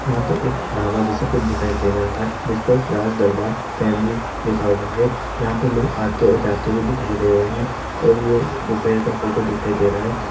यहाँ पे एक ढाबा जैसा कूछ दिखाई दे रहा है जिसपे राज दरबार फॅमिली लिखा हुआ है जहाँ पे लोग आते और जाते हुए दिखाई दे रहे हैं और ये दोपहर का फोटो दिखाई दे रहा है।